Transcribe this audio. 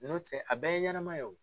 N'o tɛ a bɛɛ ye ɲɛnama ye o.